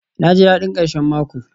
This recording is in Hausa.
naji dadin karshen mako